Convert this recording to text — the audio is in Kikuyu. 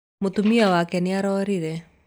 Mũtumia wake nĩ arorire.